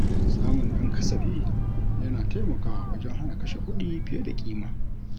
Samun ɗan kasafi yana taimakawa wajen hana kashe kuɗi fiye da ƙima.